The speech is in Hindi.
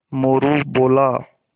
मोरू बोला